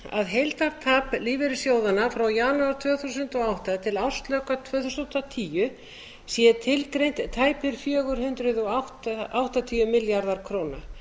að heildartap lífeyrissjóðanna frá janúar tvö þúsund og átta til ársloka tvö þúsund og tíu sé tilgreint tæpir fjögur hundruð áttatíu milljarðar króna